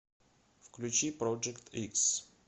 включи проджект икс